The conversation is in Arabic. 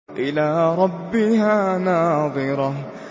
إِلَىٰ رَبِّهَا نَاظِرَةٌ